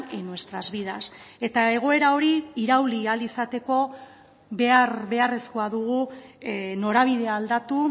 en nuestras vidas eta egoera hori irauli ahal izateko behar beharrezkoa dugu norabidea aldatu